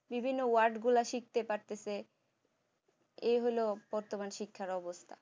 বিভিন্ন word গুলা শিখতে পারতেছি এইহলো বর্তমান শিক্ষার অবস্থা